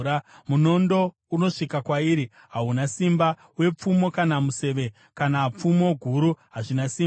Munondo unosvika kwairi hauna simba, uye pfumo kana museve kana pfumo guru hazvina simba.